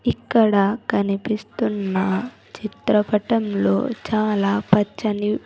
ఇక్కడ కనిపిస్తున్న చిత్రపటంలో చాలా పచ్చని.